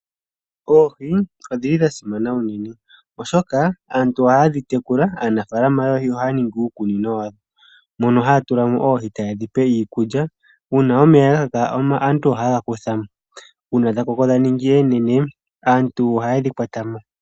Oohi odhili dha simana uunene, oshoka aantu ohaye dhi tekula . Aanafaalama yoohi ohaya ningi iikunino yawo mono haya tula mo oohi etaye dhi pe iikulya. Uuna omeya gakaka aantu ohaye ga kutha mo nongele dha koko dhaningi oonene aantu ohaye dhi kutha mo.